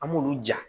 An b'olu ja